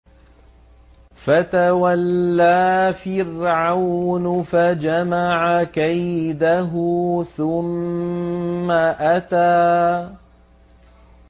فَتَوَلَّىٰ فِرْعَوْنُ فَجَمَعَ كَيْدَهُ ثُمَّ أَتَىٰ